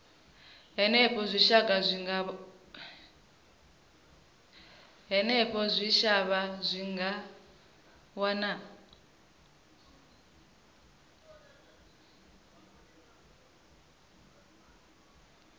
henefho zwitshavha zwi nga wana